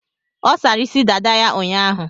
Ọ sara isi dada ya ụnyaahụ.